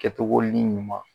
Kɛcogonin ɲuman